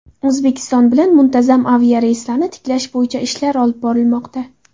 O‘zbekiston bilan muntazam aviareyslarni tiklash bo‘yicha ishlar olib borilmoqda.